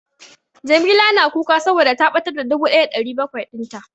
Jamila na kuka saboda ta ɓatar da dubu ɗaya da ɗari bakwai din ta.